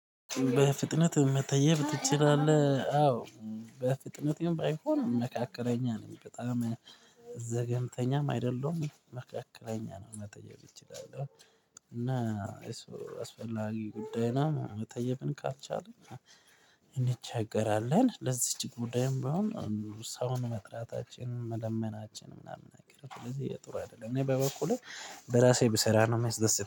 በፍጥነት መተየብ ትችላለህ? አዎ በፍጥነት ባይሆን መካከለኛ ነኝ በጣም ዘገንተኛም አይደለሁም መካከለኛ ነው መጠየብ ይችላል። እና አስፈላጊ ጉዳይ ነው። መጠየቅን ካልቻልን እንቸገራለን። ለዚች ጉዳይም ቢሆን ሰውን መጥራታችንን መለመናችንን ምናምን አገርተው ለዚህ የጦር አይደለም እኔ በበኩሌ በራሴ ብሰራ ነው የሚያስደስተኝ